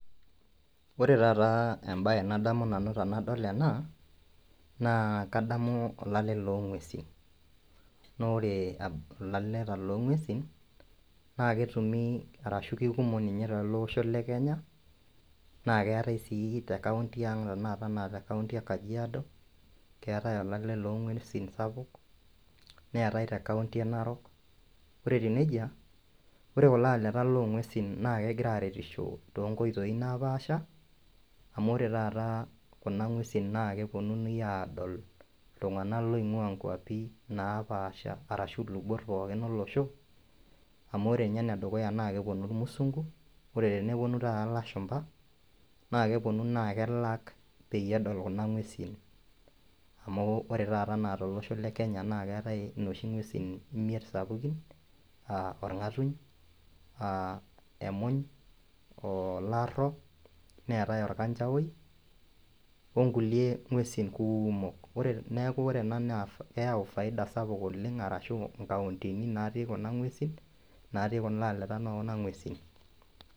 Ore taata embaye nadamu nanu tanadol ena, naa kadamu olale long'uesin naa ore uh ilaleta long'uesin naa ketumi arashu kekumok ninye oleng' tele osho le kenya naa keetae sii te kaunti ang' tenakata anaa te kaunti ang e kajiado keetae olale long'uesin sapuk neetae te kaunti e Narok ore etiu nejia ore kulo aleta long'uesin naa kegira aretisho tonkoitoi napaasha amu ore taata kuna ng'uesin naa keponunui adol iltung'anak loing'ua nkuapi napaasha arashu ilubot pookin olosho amu ore inye enedukuya naa keponu irmusungu ore teneponu taata ilashumpa naa keponu naa kelak peyie edol kuna ng'uesin amu ore taata enaa tolosho le kenya naa keetae inoshi ng'uesin imiet sapukin aa orng'atuny aa emuny olarro neetae orkanchawoi onkulie ng'uesin kumok ore neeku ore ena naa keyau faida sapuk oleng' arashu inkauntini natii kuna ng'uesin natii kulo aleta nokuna ng'uesin.